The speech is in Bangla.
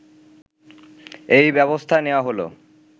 এই ব্যবস্থা নেওয়া হল